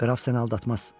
Qraf səni aldatmaz.